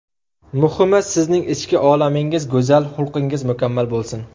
Muhimi, sizning ichki olamingiz go‘zal, xulqingiz mukammal bo‘lsin!